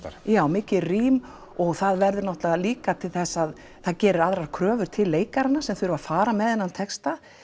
já mikið rím og það verður náttúrulega líka til þess að það gerir aðrar kröfur til leikarana sem þurfa að fara með þennan texta